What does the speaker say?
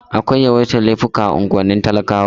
Akwai yawaitar laifuka a unguwannin talakawa.